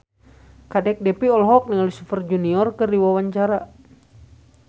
Kadek Devi olohok ningali Super Junior keur diwawancara